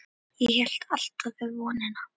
Ég hélt alltaf í vonina.